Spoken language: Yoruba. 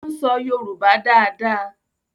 o n so yoruba dá dá.